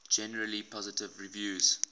generally positive reviews